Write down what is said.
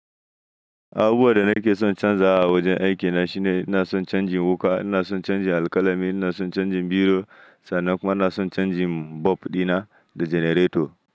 Abubuwan da nake son canza a wajen aikina shine ina son canjin wuka, ina son canjin alkalami, ina son canjin biro sannan kuma ina son canjin bulb dina da generator.